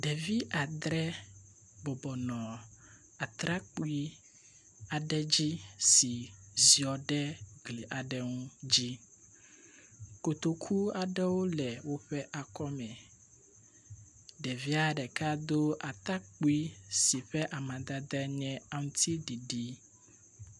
Ɖevi adre bɔbɔnɔ atrakpui aɖe dzi si ziɔ ɖe gli aɖe ŋu dzi. Kotoku aɖewo le woƒe akɔme. Ɖevia ɖeka do atakpui si ƒe amadede nye aŋtiɖiɖi.